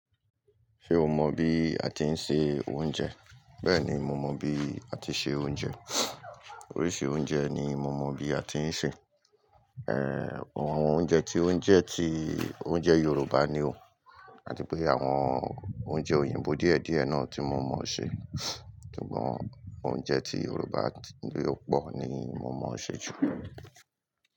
Ṣé o mọ bí a ti ń se oúnjẹ? Bẹ́ẹ̀ni, mo mọ bí a ti ṣe oúnjẹ. Oríṣi oúnjẹ ni mo mọ bí a ti ń ṣè. Àwọn oúnjẹ tí, oúnjẹ tí, oúnjẹ Yorùbá ni o. Àti pé àwọn oúnjẹ òyìnbó díẹ̀díẹ̀ náà tí mo mọ̀ ṣe. Sùgbọn oúnjẹ tí Yorùbá ló pọ̀ ni mo mọ̀ ṣe jù.